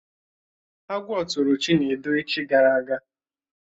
Agwọ tụrụ Chinedu echi gara aga